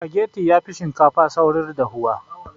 Sufageti yafi shinkafa saurin dafuwa